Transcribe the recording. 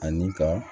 Ani ka